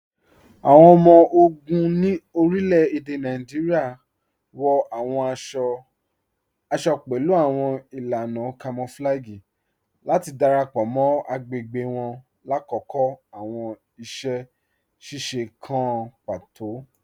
Awọn ọmọ-ogun ni orílẹ̀-èdè Nàìjíríà wọ awọn àṣọ-àṣọ̀ pẹ̀lú awọn ilànà kamọ̀flàgíì láti darapọ mọ́ agbẹ̀gbẹ̀ wọn lákọkọ̀ awọn iṣẹ̀-ṣiṣe kàn pátò.